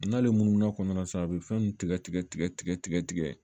N'ale munu no kɔnɔna na sa a bɛ fɛn tigɛ tigɛ tigɛ tigɛ tigɛ tigɛ